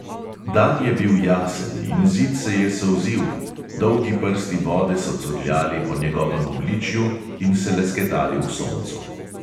Dan je bil jasen in zid se je solzil, dolgi prsti vode so curljali po njegovem obličju in se lesketali v soncu.